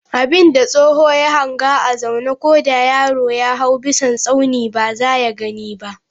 Abinda tsoho ya hanga a zaune, ko da yaro ya hawo bisan tsauni ba za ya gani ba.